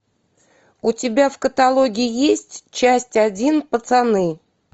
у тебя в каталоге есть часть один пацаны